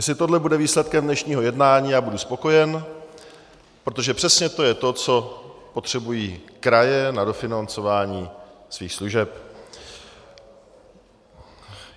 Jestli tohle bude výsledkem dnešního jednání, já budu spokojen, protože přesně to je to, co potřebují kraje na dofinancování svých služeb.